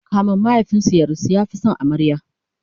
kamin mahaifinsu ya rasu ya Fi San amaryar